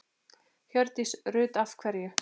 Hjördís Rut: Af hverju?